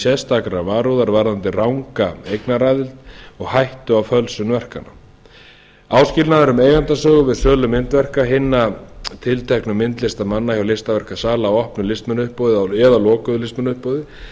sérstakrar varúðar varðandi ranga eignaraðild og hættu á fölsun verkanna áskilnaður um eigendasögu við sölu myndverka hinna tilteknu myndlistarmanna hjá listaverkasala í opnu listmunauppboði eða lokuðu listmunauppboði